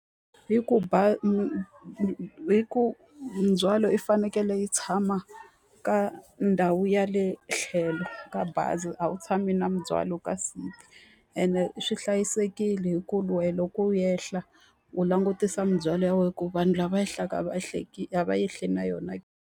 Hi ku hi ku mindzhwalo yi fanekele yi tshama ka ndhawu ya le tlhelo ka bazi a wu tshami na mindzwalo, kasi ene swi hlayisekile hi ku loko u ehla u langutisa mindzwalo ya wena ku vanhu lava ehlaka a va a va ehli na yona.